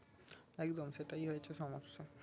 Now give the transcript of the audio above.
একদম সেটাই হয়েছে সমস্যা